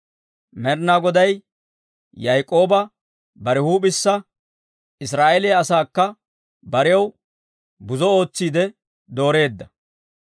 Med'inaa Goday Yaak'ooba bare huup'ew, Israa'eeliyaa asaakka barew buzo ootsiide dooreedda.